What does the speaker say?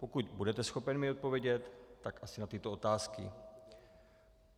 Pokud budete schopen mi odpovědět, tak asi na tyto otázky: